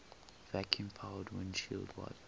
vacuum powered windshield wipers